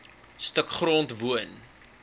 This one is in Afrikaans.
stuk grond woon